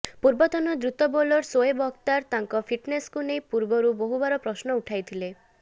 ପୂର୍ବତନ ଦ୍ରୁତ ବୋଲର ସୋଏବ ଅଖତାର ତାଙ୍କ ଫିଟନେସଙ୍କୁ ନେଇ ପୂର୍ବରୁ ବହୁବାର ପ୍ରଶ୍ନ ଉଠାଇଥିଲେ